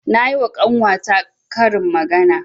Nayi wa ƙanwa ta karin magana.